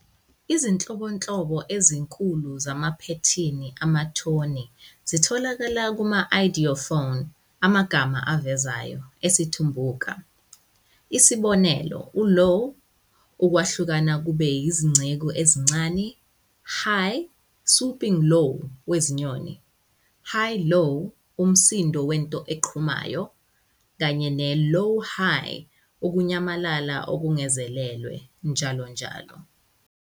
Izinhlobonhlobo ezinkulu zamaphethini amathoni zitholakala kuma- ideophones, amagama avezayo, esiTumbuka, isibonelo uLow, 'ukwahlukana kube izingcezu ezincane', High, 'swooping low, wezinyoni, High-Low, 'umsindo wento eqhumayo', kanye ne-Low-High, 'ukunyamalala okungazelelwe', njll.